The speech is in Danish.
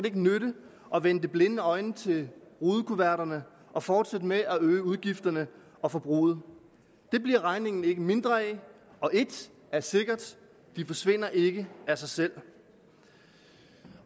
ikke nytte at vende det blinde øje til rudekuverterne og fortsætte med at øge udgifterne og forbruget det bliver regningen ikke mindre af og ét er sikkert de forsvinder ikke af sig selv